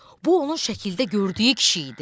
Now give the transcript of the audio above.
Bu onun şəkildə gördüyü kişi idi.